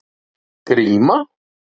Gríma